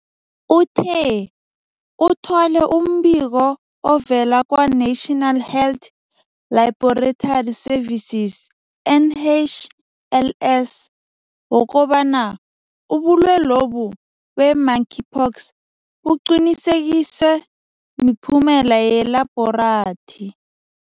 Uthe, uthole umbiko ovela kwa-National Health Laboratory Services, NHLS, wokobana ubulwelobu be-Monkeypox buqinisekiswe miphumela yeLabhorathri.